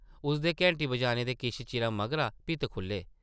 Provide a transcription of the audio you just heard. उसदे घैंटी बजाने दे किश चिरा मगरा भित्त खुʼल्ले ।